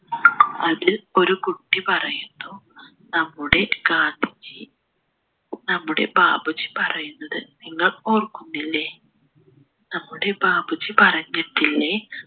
അതിൽ ഒരു കുട്ടി പറയുന്നു നമ്മുടെ ഗാന്ധിജി നമ്മുടെ ബാപ്പുജി പറയുന്നത് നിങ്ങൾ ഓർക്കുന്നില്ലേ നമ്മുടെ ബാപ്പുജി പറഞ്ഞിട്ടില്ലേ